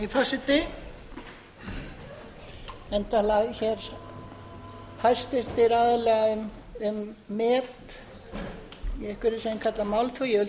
virðulegi forseti enn tala hæstvirtir aðilar um met í einhverju sem þeir kalla málþóf ég vil